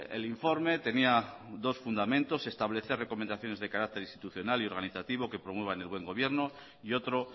el informe tenía dos fundamentos establecer recomendaciones de carácter institucional y organizativo que promuevan el buen gobierno y otro